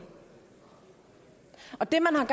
det